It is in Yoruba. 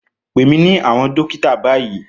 Pè mí ní àwọn dókítà báyìí